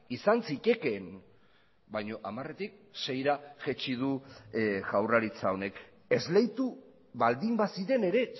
izan zitekeen baina hamaretik seira jaitsi du jaurlaritza honek esleitu baldin baziren ere